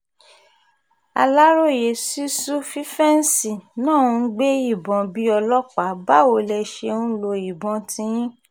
aláròye sísù fífẹ́ǹsì náà ń gbé ìbọn bíi ọlọ́pàá báwo lẹ ṣe ń lo ìbọn tiyín